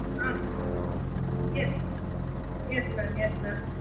ah yes yes mam yes mam